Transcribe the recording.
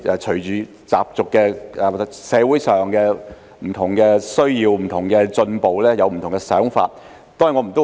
隨着社會的需要及進步，對習俗有不同的想法。